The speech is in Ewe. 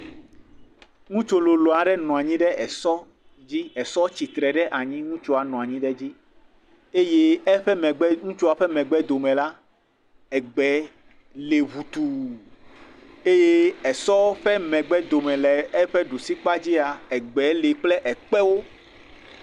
Ŋutsu lolo aɖe nɔ anyi ɖe esɔ dzi. Esɔ tsitre ɖe anyi ŋutsua nɔ anyi ɖe dzi eye eƒe megbe ŋutsua ƒe megbe dome la egbe li ŋutu eye esɔ ƒe megbe dome le eƒe ɖusikpadzia egbe li kple ekpewo.